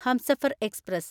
Humsafar express